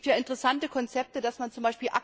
Und es gibt hier interessante Konzepte, dass man z.